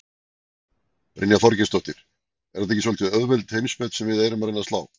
Brynja Þorgeirsdóttir: Er þetta ekki svolítið auðveld heimsmet sem við erum að reyna að slá?